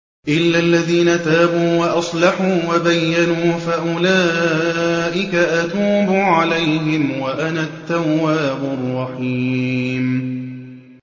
إِلَّا الَّذِينَ تَابُوا وَأَصْلَحُوا وَبَيَّنُوا فَأُولَٰئِكَ أَتُوبُ عَلَيْهِمْ ۚ وَأَنَا التَّوَّابُ الرَّحِيمُ